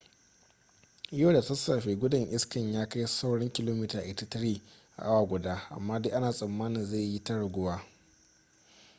yau da sassafe gudun iska ya kai saurin kilomita 83 a awa guda amma dai ana tsammanin zai yi ta raguwa